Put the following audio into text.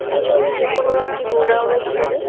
এ ছবিটি কোনও একটি গোডাউনের ছবি।